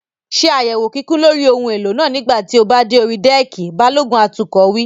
Ṣé àyẹ̀wò kíkún lórí ohun èlò náà nígbà tí o bá dé orí dẹ́ẹ̀kì! Balógun atukọ̀ wí.